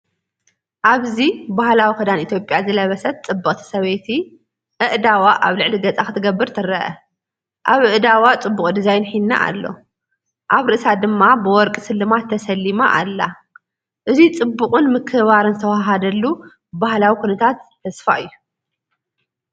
ኣብዚ ባህላዊ ክዳን ኢትዮጵያ ዝለበሰት ጽብቕቲ ሰበይቲ፡ ኣእዳዋ ኣብ ልዕሊ ገጻ ክትገብር ትርአ። ኣብ ኣእዳዋ ጽቡቕ ዲዛይን ሂና ኣሎ፡ ኣብ ርእሳ ድማ ብወርቂ ስልማት ተሰሊማ ኣላ። እዙይ ጽባቐን ምክብባርን ዝተዋሃሃደሉ ባህላዊ ኩነታት ተስፋ እዩ።